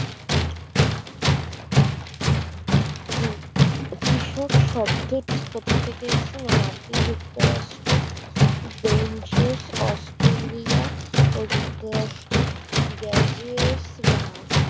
জু কৃষক শব্দটি কোথা থেকে এসেছে না মার্কিন যুক্তরাষ্ট্র ব্যঞ্চারস অস্ট্রেলিয়া ও যুক্তরাষ্ট্র গ্যাজিয়ার্স বা